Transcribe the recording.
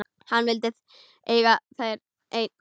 Hann vildi eiga þær einn.